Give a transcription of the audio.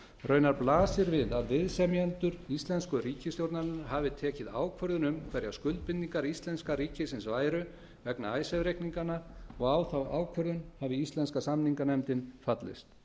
raunar blasir við að viðsemjendur íslensku ríkisstjórnarinnar hafi tekið ákvörðun um hverjar skuldbindingar íslenska ríkisins væru vegna icesave reikninganna og að á þá ákvörðun hafi íslenska samninganefndin fallist